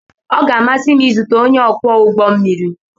Ọ ga-amasị m izute onye ọkwọ ụgbọ mmiri.